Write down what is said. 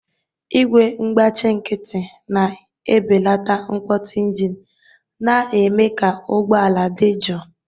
Igwe ngbachi nkịtị na-ebelata mkpọtụ engine, na-eme ka ụgbọ ala dị jụụ.